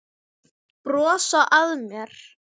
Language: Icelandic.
Brosa að mér!